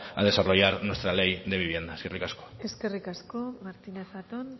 a desarrollar nuestra ley de vivienda eskerrik asko eskerrik asko martínez zaton